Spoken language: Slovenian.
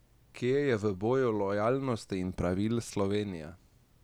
Kje je v boju lojalnosti in pravil Slovenija?